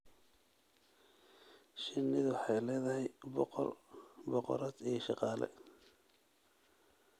Shinnidu waxay leedahay boqor, boqorad iyo shaqaale.